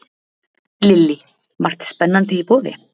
Lillý: Margt spennandi í boði?